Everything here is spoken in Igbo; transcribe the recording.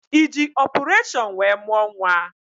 Ị ji ọpụreshọn wee mụọ nwa?